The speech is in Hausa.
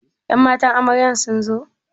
Ƴan matan amarya sunzo?